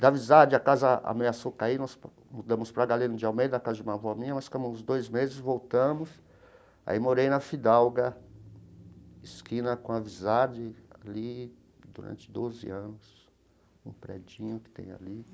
Da Wisard, a casa ameaçou cair, nós mudamos para a Galeno de Almeida, na casa de uma avó minha, nós ficamos uns dois meses, voltamos, aí morei na Fidalga, esquina com a Wisard, ali durante doze anos, um predinho que tem ali.